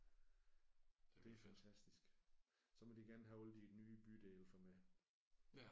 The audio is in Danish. Det er fantastisk. Så må de gerne have alle de nye bydele for mig